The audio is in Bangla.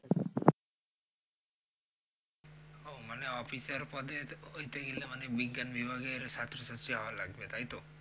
ও মানে অফিসার পদের কইতে গেলে মানে বিজ্ঞান বিভাগের ছাত্রছাত্রী হওয়া লাগবে তাইতো?